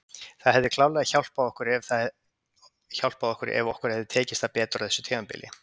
Það hefði klárlega hjálpað okkur ef okkur hefði tekist það betur á þessu tímabili.